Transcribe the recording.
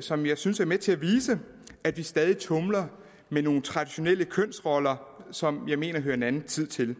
som jeg synes er med til at vise at vi stadig tumler med nogle traditionelle kønsroller som jeg mener hører en anden tid til